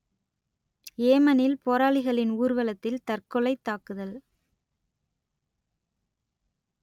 யேமனில் போராளிகளின் ஊர்வலத்தில் தற்கொலைத் தாக்குதல்